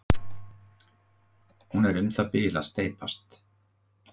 Hún er um það bil að steypast.